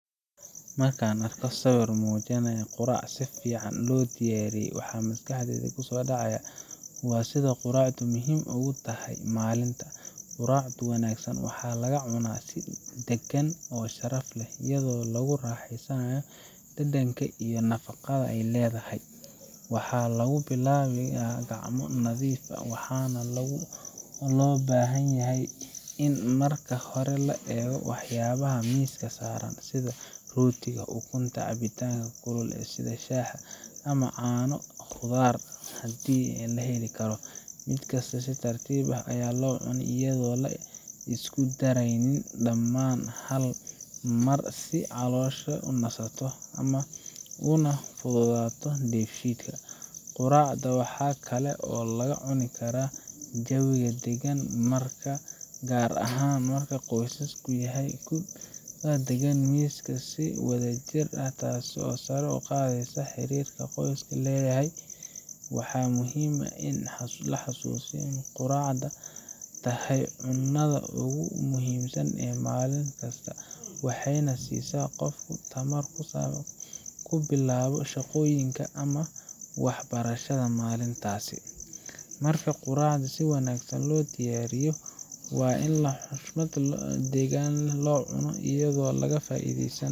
Markaan arko sawir muujinaya quraac si fiican loo diyaariyay, waxaa maskaxdayda ku soo dhacaya sida quraacdu muhiim ugu tahay maalinta. Quraacda wanaagsan waxaa laga cunaa si dagan oo sharaf leh, iyadoo lagu raaxaysanayo dhadhanka iyo nafaqada ay leedahay. Waxaa lagu bilaabaa gacmo nadiif ah, waxaana loo baahan yahay in marka hore la eego waxyaabaha miiska saaran, sida rootiga, ukunta, cabitaan kulul sida shaah ama caano, iyo khudaar haddii la heli karo. Mid kasta si tartiib ah ayaa loo cunaa iyadoo aan la isku daraynin dhamaan hal mar, si caloosha u nasato, una fududaato dheefshiidka. Quraacda waxaa kale oo lagu cuni karaa jawi deggan, gaar ahaan qoysaska waxay ku wadaagaan miiska si wadajir ah, taas oo sare u qaadaysa xiriirka qoysku leeyahay. Waxaa muhiim ah in la is xasuusiyo in quraacda tahay cunada ugu muhiimsan ee maalinta, waxayna siisaa qofka tamar uu ku bilaabo shaqooyinka ama waxbarashada maalintaas. Markaa, quraacda si wanaagsan loo diyaariyay waa in si xushmad iyo degganaan leh loo cuno, iyadoo laga faa’iideysanayo